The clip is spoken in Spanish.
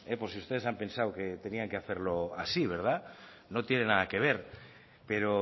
por si ustedes han pensado que tenían que hacerlo así verdad no tiene nada que ver pero